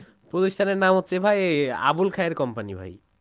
প্রতিষ্ঠানের নাম হচ্ছে ভাই আবুল খায়ের company ভাই